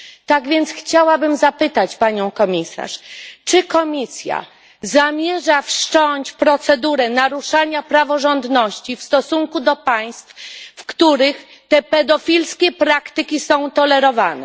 Tak więc chciałabym zapytać panią komisarz czy komisja zamierza wszcząć procedurę naruszenia praworządności w stosunku do państw, w których te pedofilskie praktyki są tolerowane?